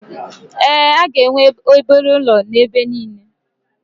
Ee, a ga-enwe obere ụlọ ebe niile